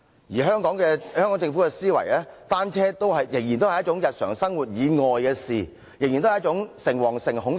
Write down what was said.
至於香港政府的思維，就是單車仍然是一種日常生活以外的事，仍然是一種誠惶誠恐的事。